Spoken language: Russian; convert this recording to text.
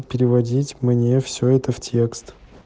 переводить мне все это в текст